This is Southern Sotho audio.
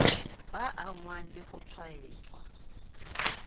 ba angwang le ho tshwaetswa